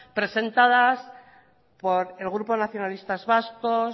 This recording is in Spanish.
presentadas por el grupo nacionalistas vascos